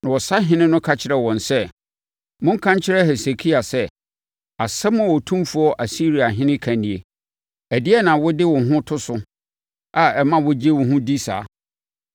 Na ɔsahene no ka kyerɛɛ wɔn sɛ, “Monka nkyerɛ Hesekia sɛ, “ ‘Asɛm a otumfoɔ Asiriahene ka nie: Ɛdeɛn na wode wo ho to so a ɛma wogye wo ho di saa?